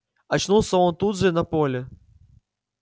очнулся он тут же на поле